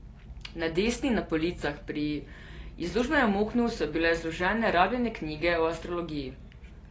Na desni, na policah pri izložbenem oknu, so bile zložene rabljene knjige o astrologiji.